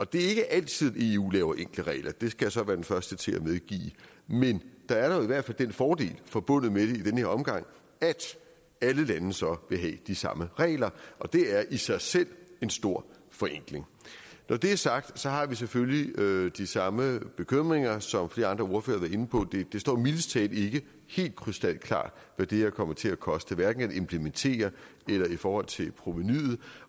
det er ikke altid at eu laver enkle regler det skal jeg så være den første til at medgive men der er dog i hvert fald den fordel forbundet med det i den her omgang at alle lande så vil have de samme regler og det er i sig selv en stor forenkling når det er sagt har vi selvfølgelig de samme bekymringer som flere andre ordførere inde på det står mildest talt ikke helt krystalklart hvad det her kommer til at koste hverken at implementere eller i forhold til provenuet